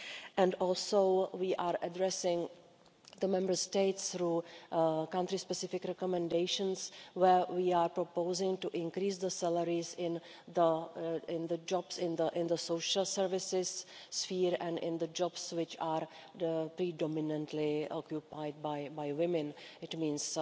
and also we are addressing the Member States through country specific recommendations, where we are proposing to increase the salaries in the jobs in the social services sphere and in the jobs which are predominantly occupied by women, it means